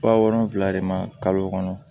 Ba wɔɔrɔ de ma kalo kɔnɔ